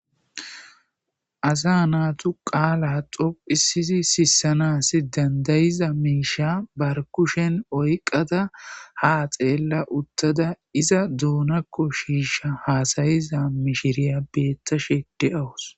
asa naatu qaala xophisisi sissanas dandayiza miisha barkushen oyqada ha xeella uttada iza doonakko shiisha haasayiza mishiriya beettashede awus